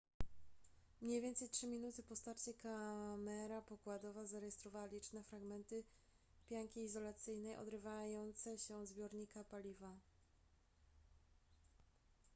mniej więcej 3 minuty po starcie kamera pokładowa zarejestrowała liczne fragmenty pianki izolacyjnej odrywające się od zbiornika paliwa